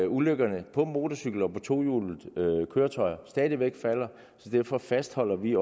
ulykkerne på motorcykel og på tohjulede køretøjer stadig væk falder så derfor fastholder vi